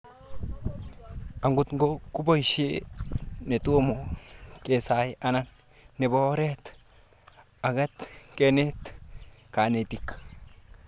Agot ko poisho netoma kesai anan nepo orit akot kenet kanetik